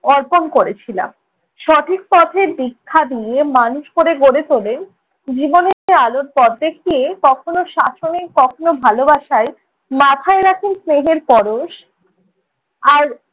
অর্পণ করেছিলাম। সঠিক পথের দীক্ষা দিয়ে মানুষ করে গড়ে তোলেন। জীবনে আলোর পথ দেখিয়ে কখনও শাসনে কখনও ভালোবাসায়, মাথায় রাখেন স্নেহের পরশ। আর